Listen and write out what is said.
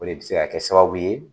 O de bi se ka kɛ sababu ye